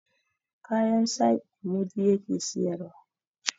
kayan saƙi mudi ya ke siyarwa